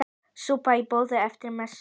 Súpa í boði eftir messu.